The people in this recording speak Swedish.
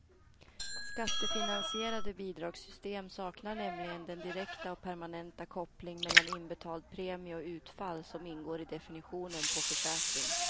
Skattefinansierade bidragssystem saknar nämligen den direkta och permanenta koppling mellan inbetald premie och utfall som ingår i definitionen på försäkring.